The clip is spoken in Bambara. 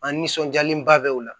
An nisɔndiyalenba bɛ o la